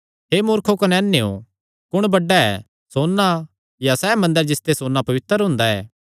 हे मूर्खो कने अन्नेयो कुण बड्डा ऐ सोन्ना या सैह़ मंदर जिसते सोन्ना पवित्र हुंदा ऐ